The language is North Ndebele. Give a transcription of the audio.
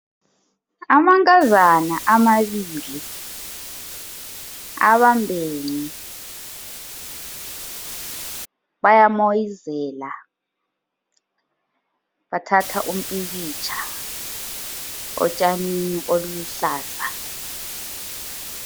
Amankazana amabili, abambene, bayamoyizela, bathatha umpikitsha otshanini oluluhlaza.